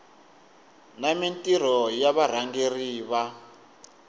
na mintirho ya varhangeri va